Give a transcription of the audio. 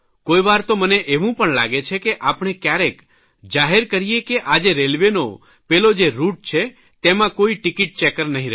કોઇ વાર તો મને એવું પણ લાગે છે કે આપણે કયારેક જાહેર કરીએ કે આજે રેલવેનો પેલો જે રૂટ છે તેમાં કોઇ ટિકિટ ચેકર નહીં રહે